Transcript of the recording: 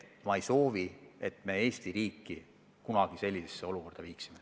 Ma ei soovi, et me Eesti riigi kunagi sellisesse olukorda viime.